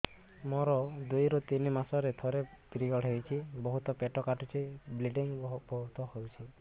ମୋର ଦୁଇରୁ ତିନି ମାସରେ ଥରେ ପିରିଅଡ଼ ହଉଛି ବହୁତ ପେଟ କାଟୁଛି ବ୍ଲିଡ଼ିଙ୍ଗ ବହୁତ ହଉଛି